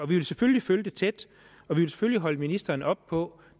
vi vil selvfølgelig følge det tæt og vi vil selvfølgelig holde ministeren op på